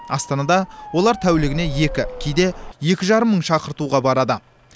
астанада олар тәулігіне екі кейде екі жарым мың шақыртуға барады